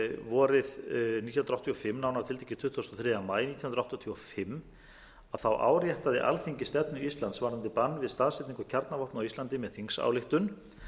vorið nítján hundruð áttatíu og fimm nánar tiltekið tuttugasta og þriðja maí nítján hundruð áttatíu og fimm áréttaði alþingi stefnu íslands varðandi bann við staðsetningu kjarnavopna á íslandi með þingsályktun